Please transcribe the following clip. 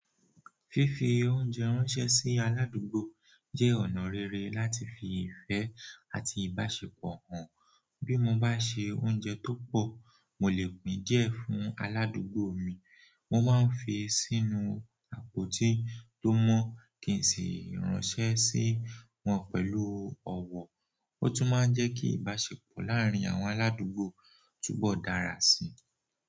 Fífi oúnjẹ ránṣẹ́ sí aládùúgbò jẹ́ ọ̀nà rere láti fi ìfẹ́ àti ìbáṣepọ̀ hàn. Bí mo bá se oúnjẹ tó pọ̀, mo lè pín díẹ̀ fún aládùúgbò mi. Mo máa ń fi sínú àpó tí ó mọ́ kí n sì ránṣẹ́ sí wọ́n pẹ̀lú ọ̀wọ̀. Ó tún máa ń jẹ́ kí ìbáṣepọ̀ láàárín àwọn aládùúgbò túbọ̀ dára síi.